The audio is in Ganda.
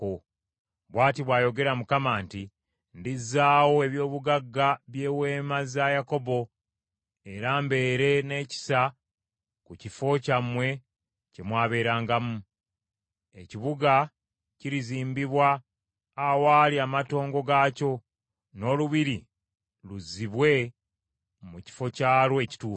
“Bw’ati bw’ayogera Mukama nti, “ ‘Ndizzaawo eby’obugagga by’eweema za Yakobo era mbeere n’ekisa ku kifo kyammwe kye mwabeerangamu. Ekibuga kirizimbibwa awaali amatongo gaakyo, n’olubiri luzzibwe mu kifo kyalwo ekituufu.